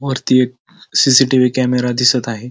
वरती एक CCTV. Camera दिसत आहे.